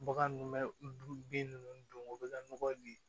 Bagan nun bɛ bin ninnu don o bɛ ka nɔgɔ di